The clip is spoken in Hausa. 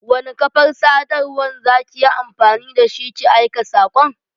Wani kafar sadarwan za ki yi amfani da shi ki aika saƙon?